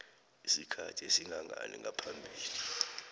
isikhathi esingangani ngaphambi